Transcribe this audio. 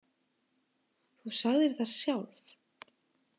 Þú sagðir það sjálf.